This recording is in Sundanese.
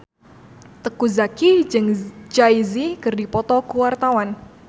Teuku Zacky jeung Jay Z keur dipoto ku wartawan